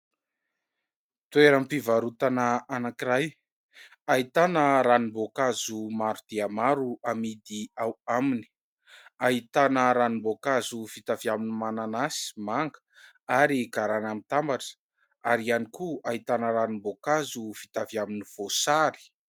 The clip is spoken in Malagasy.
Toeram-pivarotana anankiray ahitana ranombokazo maro dia maro amidy ao aminy, ahitana ranomboakazo vita avy amin'ny mananasy, manga ary garana mitambatra ary ihany koa ahitana ranomboakazo vita avy amin'ny voasary.